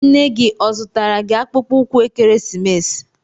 Nne gị ọ zụtara gi akpụkpọ ụkwụ ekeresimesi?